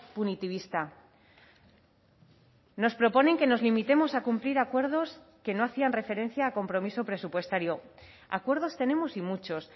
punitivista nos proponen que nos limitemos a cumplir acuerdos que no hacían referencia a compromiso presupuestario acuerdos tenemos y muchos